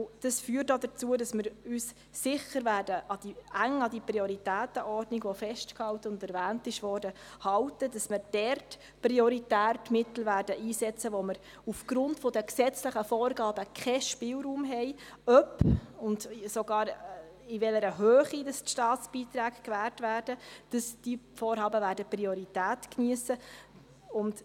Dies führt auch dazu, dass wir uns sicher eng an die festgehaltene und erwähnte Prioritätenordnung halten, dass wir dort prioritär Mittel einsetzen werden, wo wir aufgrund der gesetzlichen Vorgaben keinen Spielraum haben, ob und sogar in welcher Höhe Staatsbeiträge gewährt werden, und dass diese Vorhaben Priorität geniessen werden.